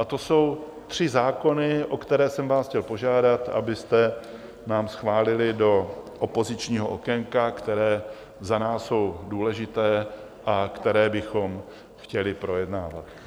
A o jsou tři zákony, o které jsem vás chtěl požádat, abyste nám schválili do opozičního okénka, které za nás jsou důležité a které bychom chtěli projednávat.